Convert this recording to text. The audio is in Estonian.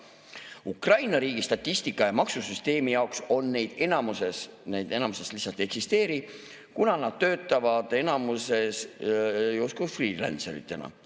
Ukraina riigi statistika ja maksusüsteemi jaoks neid enamasti lihtsalt ei eksisteeri, kuna nad töötavad justkui freelancer'itena.